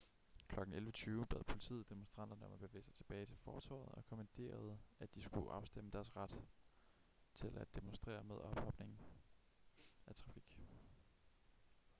klokken 11:20 bad politiet demonstranterne om at bevæge sig tilbage til fortovet og kommanderede at de skulle afstemme deres ret til at demonstrere med ophobningen af trafik